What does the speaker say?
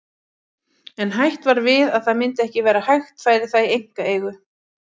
Bergrín, hvað er opið lengi á miðvikudaginn?